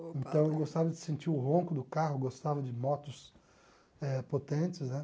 Então eu gostava de sentir o ronco do carro, gostava de motos eh potentes, né?